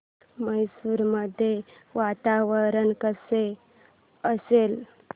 मैसूर मध्ये वातावरण कसे असेल